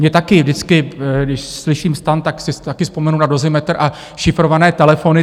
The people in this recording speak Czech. Já taky vždycky, když slyším STAN, tak si taky vzpomenu na Dozimetr a šifrované telefony.